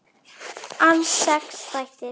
Alls sex þættir.